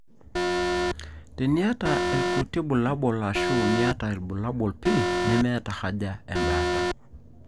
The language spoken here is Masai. teniata ilkuti bulabul ashu miata ilbullabul pii, nemeeta haja embaata